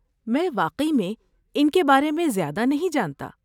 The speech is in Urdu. میں واقعی میں ان کے بارے میں زیادہ نہیں جانتا۔